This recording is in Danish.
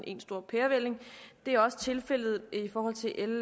i en stor pærevælling det er også tilfældet